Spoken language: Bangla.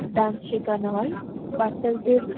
ডান্স শেখানো হয় বাচ্চাদের --